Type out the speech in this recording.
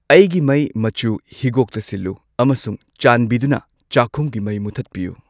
ꯑꯩꯒꯤ ꯃꯩ ꯃꯆꯨ ꯍꯤꯒꯣꯛꯇ ꯁꯤꯜꯂꯨ ꯑꯃꯁꯨꯡ ꯆꯥꯟꯕꯤꯗꯨꯅ ꯆꯥꯈꯨꯝꯒꯤ ꯃꯩ ꯃꯨꯊꯠꯄꯤꯌꯨ꯫